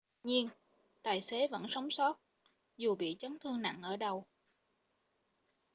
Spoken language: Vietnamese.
tuy nhiên tài xế vẫn sống sót dù bị chấn thương nặng ở đầu